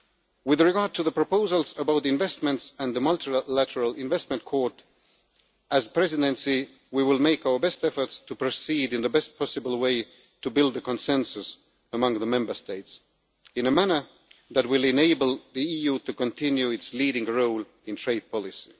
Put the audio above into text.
With regard to the proposals on investments and the Multilateral Investment Court, as the Presidency we will make our best efforts to proceed in the best possible way to build a consensus among the Member States, in a manner that will enable the EU to continue its leading role in trade policy.